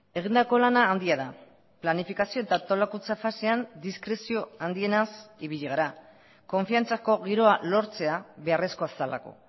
egindako lana handia da planifikazio eta antolakuntza fasean diskrezio handienaz ibili gara konfiantzako giroa lortzea beharrezkoa zelako